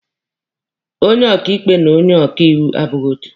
Onye ọkaịkpe na onye ọkaiwu abụghị otu.